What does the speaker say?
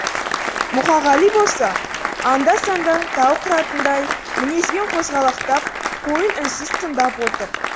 мұқағали болса анда санда тау қыратындай мінезбен қозғалақтап қойын үнсіз тыңдап отыр